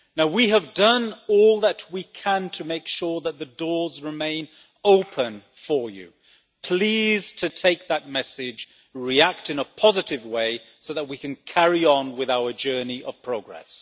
We have done all that we can to make sure that the doors remain open for you. Please take that message today and react in a positive way, so that we can carry on with our journey of progress.